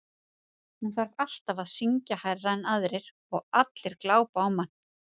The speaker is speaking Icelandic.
Hún þarf alltaf að syngja hærra en aðrir og allir glápa á mann